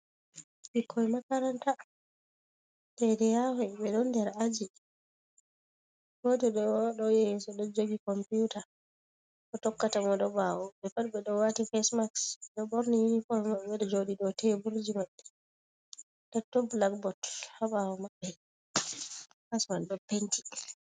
Ɓikkoi makaranta, dai dai yahon ɓe ɗon nder aji. Goto ɗo yeso ɗo jogi kompyuta. Mo tokkata mo ɗo ɓawo. Ɓe pat ɓe ɗo wati fesmaks, ɓe ɗo ɓorni yunifom maɓɓe. Ɓeɗo joɗi dau teburji maɓɓe, nda ton blakbot haɓawo maɓɓe klas mai ɗo penti.